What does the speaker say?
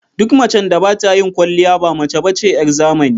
Duk macen da ba ta yin kwaliya ba mace ba ce 'yar zamani.